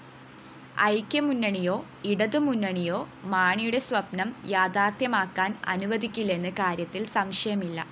ഐക്യമുന്നണിയോ ഇടതുമുന്നണിയോ മാണിയുടെ സ്വപ്‌നം യാഥാര്‍ത്ഥ്യമാക്കാന്‍ അനുവദിക്കില്ലെന്ന കാര്യത്തില്‍ സംശയമില്ല